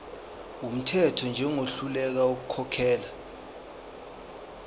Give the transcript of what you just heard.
wumthetho njengohluleka ukukhokhela